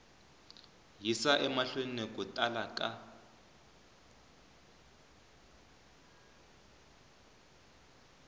yisa emahlweni ku tala ka